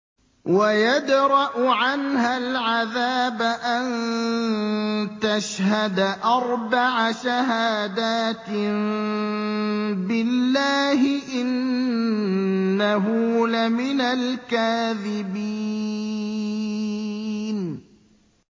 وَيَدْرَأُ عَنْهَا الْعَذَابَ أَن تَشْهَدَ أَرْبَعَ شَهَادَاتٍ بِاللَّهِ ۙ إِنَّهُ لَمِنَ الْكَاذِبِينَ